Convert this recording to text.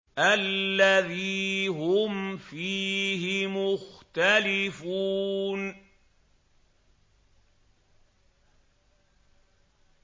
الَّذِي هُمْ فِيهِ مُخْتَلِفُونَ